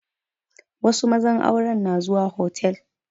Wasu mazan aure na zuwa hotal